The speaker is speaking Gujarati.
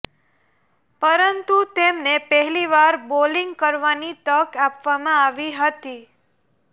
પરંતુ તેમને પહેલીવાર બોલીંગ કરવાની તક આપવામાં આવી હતી